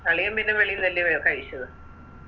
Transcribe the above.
അളിയൻ പിന്നെ വെളിന്നല്ലേയോ കഴിച്ചത്